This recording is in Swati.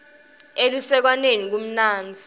elusekwaneni kumnandzi